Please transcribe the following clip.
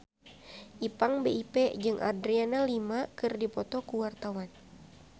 Ipank BIP jeung Adriana Lima keur dipoto ku wartawan